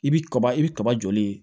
I bi kaba i bi kaba joli